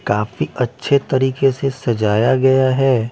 काफी अच्छे तरीके से सजाया गया हैं ।